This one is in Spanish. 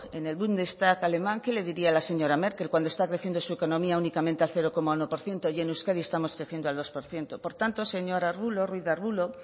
en el bundestag alemán qué le diría la señora merkel cuando está crecimiento su economía únicamente al cero coma uno por ciento y en euskadi estamos creciendo al dos por ciento por tanto señor ruiz de arbulo